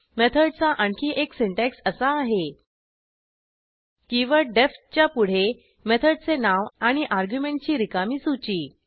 मेथडचा आणखी एक सिंटॅक्स असा आहे कीवर्ड डीईएफ च्या पुढे मेथडचे नाव आणि अर्ग्युमेंटची रिकामी सूची